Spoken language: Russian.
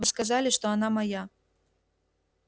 вы сказали что она моя